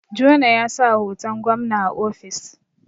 Jona ya sa hoton gwamna a ofis